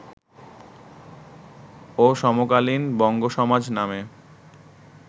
ও সমকালীন বঙ্গসমাজ নামে